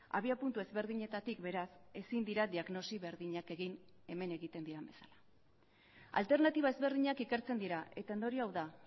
abiapuntu ezberdinetatik beraz ezin dira diagnosi berdinak egin hemen egiten diren bezala alternatiba ezberdinak ikertzen dira eta ondorioa hau da